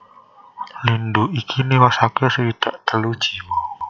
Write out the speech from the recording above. Lindhu iki niwasaké swidak telu jiwa